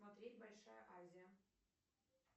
смотреть большая азия